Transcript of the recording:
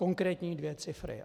Konkrétní dvě cifry.